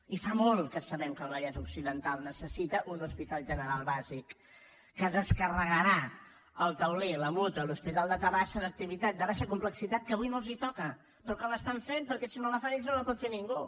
i fa molt que sabem que el vallès occidental necessita un hospital general bàsic que descarregarà el taulí la mútua l’hospital de terrassa d’activitat de baixa complexitat que avui no els toca però que l’estan fent perquè si no la fan ells no pot fer ningú